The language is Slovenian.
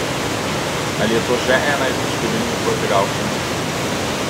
Ali je to še ena izmed številnih potegavščin?